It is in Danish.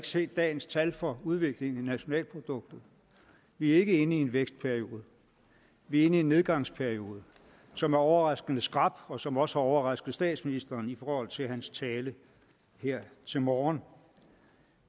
set dagens tal for udviklingen i nationalproduktet vi er ikke inde i en vækstperiode vi er inde i en nedgangsperiode som er overraskende skrap og som også har overrasket statsministeren i forhold til hans tale her til morgen